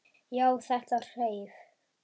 Já, þetta hreif!